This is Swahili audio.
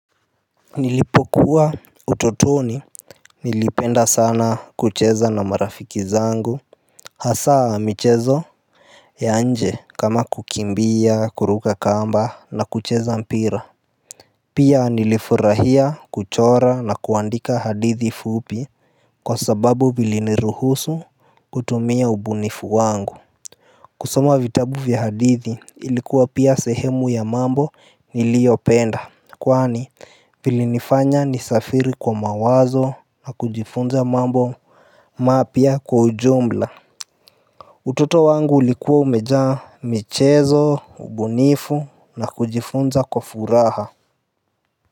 Nilipokuwa utotoni Nilipenda sana kucheza na marafiki zangu Hasa michezo ya nje kama kukimbia kuruka kamba na kucheza mpira Pia nilifurahia kuchora na kuandika hadithi fupi Kwa sababu viliniruhusu kutumia ubunifu wangu Hasa michezo ya nje kama kukimbia kuruka kamba na kucheza mpira utoto wangu ulikuwa umejaa michezo, ubunifu na kujifunza kwa furaha.